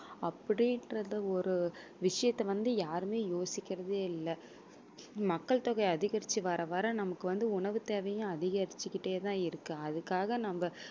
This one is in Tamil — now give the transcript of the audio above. அப்படி என்றத ஒரு விஷயத்தை வந்து யாருமே யோசிக்கிறதே இல்ல மக்கள் தொகை அதிகரிச்சு வர வர நமக்கு வந்து உணவு தேவையும் அதிகரிச்சுக்கிட்டே தான் இருக்கு அதுக்காக நம்ம